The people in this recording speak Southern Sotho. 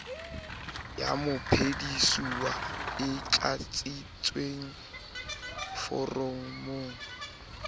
ya mophedisuwa e tlatsitsweng foromong